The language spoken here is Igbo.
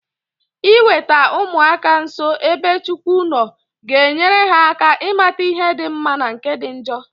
Iweta ụmụaka nso ebe Chukwu nọ ga-enyere ha aka ịmata ihe di mma na nke dị njo